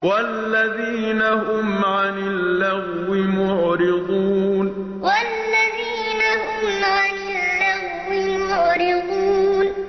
وَالَّذِينَ هُمْ عَنِ اللَّغْوِ مُعْرِضُونَ وَالَّذِينَ هُمْ عَنِ اللَّغْوِ مُعْرِضُونَ